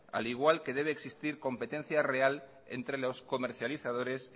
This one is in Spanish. al igual que debe existir competencia real entre los comercializadores